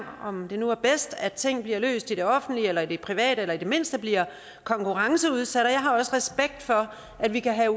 om det nu er bedst at ting bliver løst i det offentlige eller i det private eller i det mindste bliver konkurrenceudsat jeg har også respekt for at vi kan